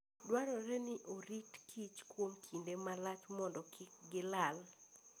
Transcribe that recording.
Dwarore ni orit kich kuom kinde malach mondo kik gilal.